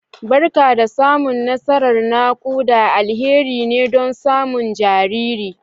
Barka da samun nasarar naƙuda, alheri ne don samun jariri